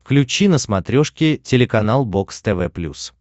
включи на смотрешке телеканал бокс тв плюс